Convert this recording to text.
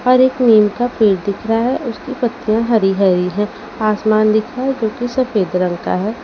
हर एक नीम का पेड़ दिख रहा है उसकी पत्तियां हरी-हरी हैं आसमान दिख रहा है जो कि सफेद रंग का है।